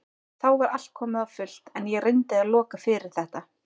Þá var allt komið á fullt en ég reyndi að loka fyrir þetta.